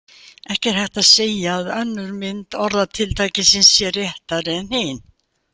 Ekki er hægt að segja að önnur mynd orðatiltækisins sé réttari en hin.